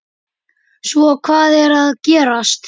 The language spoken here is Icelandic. Svo hvað er að gerast?